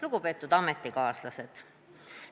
Lugupeetud ametikaaslased!